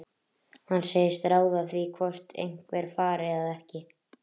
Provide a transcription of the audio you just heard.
Hann segist ráða því hvort einhver fari eða ekki.